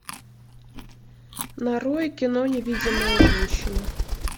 нарой кино невидимая женщина